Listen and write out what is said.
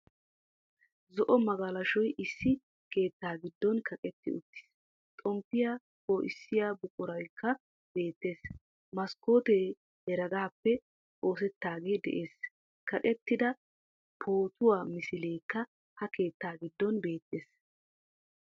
Zo"o magalashoy issi keettaa giddon kaqqetti uttiis. Xomppiya po'issiya buquraykka beettees. Kaskkootte heregaappe oosetaagee de'ees. Kaqqettida pootuwaa misilekka ha keettaa giddon beettees.